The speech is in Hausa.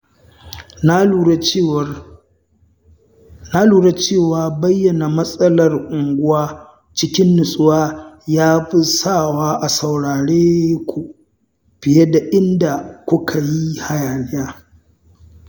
Na lura cewa bayyana matsalar unguwa cikin nutsuwa ya fi sawa a saurareku fiye da idan kuka yi hayaniya.